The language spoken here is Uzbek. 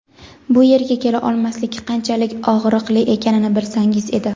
bu yerga kela olmaslik qanchalik og‘riqli ekanini bilsangiz edi.